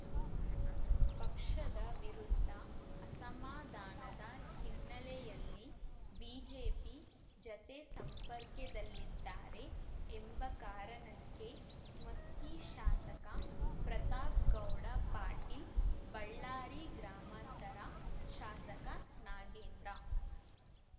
ಪಕ್ಷದ ವಿರುದ್ಧ ಅಸಮಾಧಾನದ ಹಿನ್ನೆಲೆಯಲ್ಲಿ ಬಿಜೆಪಿ ಜತೆ ಸಂಪರ್ಕೆದಲ್ಲಿದ್ದಾರೆ ಎಂಬ ಕಾರಣಕ್ಕೆ ಮಸ್ಕಿ ಶಾಸಕ ಪ್ರತಾಪ್‌ಗೌಡ ಪಾಟೀಲ್‌ ಬಳ್ಳಾರಿ ಗ್ರಾಮಾಂತರ ಶಾಸಕ ನಾಗೇಂದ್ರ